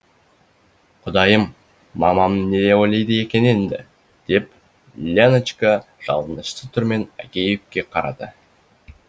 құдайым мамам не ойлайды екен енді деп леночка жалынышты түрмен агеевке қарады